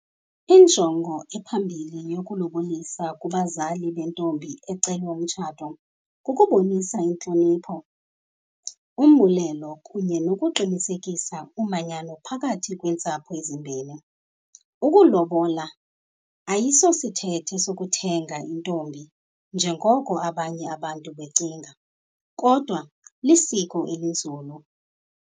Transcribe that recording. Injongo ephambili yokulobolisa kubazali bentombi ecelwa umtshato kukubonisa intlonipho, umbulelo kunye nokuqinisekisa umanyano phakathi kweentsapho ezimbini. Ukulobola ayisosithethe sokuthenga intombi njengoko abanye abantu becinga, kodwa lisiko elinzulu.